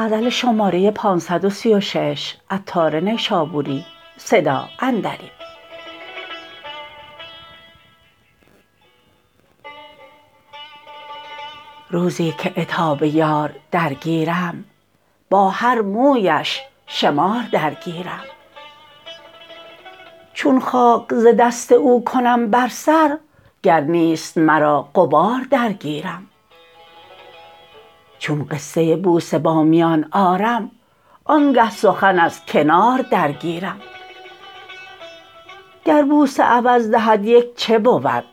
روزی که عتاب یار درگیرم با هر مویش شمار درگیرم چون خاک ز دست او کنم بر سر گر نیست مرا غبار درگیرم چون قصه بوسه با میان آرم آن گه سخن از کنار درگیرم گر بوسه عوض دهد یک چه بود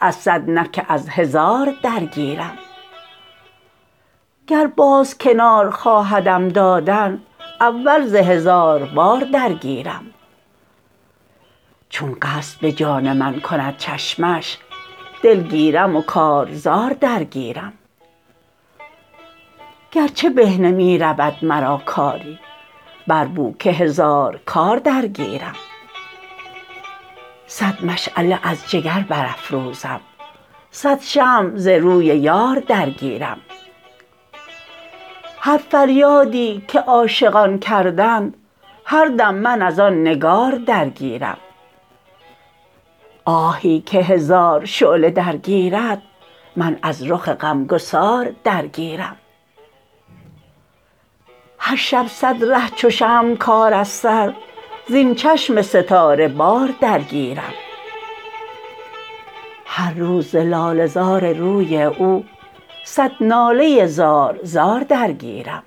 از صد نه که از هزار درگیرم گر باز کنار خواهدم دادن اول ز هزار بار درگیرم چون قصد به جان من کند چشمش دل گیرم و کارزار درگیرم گر چه به نمی رود مرا کاری بر بو که هزار کار درگیرم صد مشعله از جگر برافروزم صد شمع ز روی یار درگیرم هر فریادی که عاشقان کردند هر دم من از آن نگار درگیرم آهی که هزار شعله درگیرد من از رخ غم گسار درگیرم هر شب صد ره چو شمع کار از سر زین چشم ستاره بار درگیرم هر روز ز لاله زار روی او صد ناله زار زار درگیرم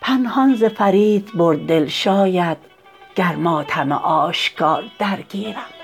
پنهان ز فرید برد دل شاید گر ماتم آشکار درگیرم